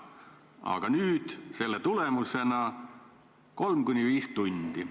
Aga muudatuse tulemusena kulub 3–5 tundi.